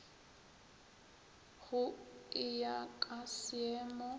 go e ya ka seemo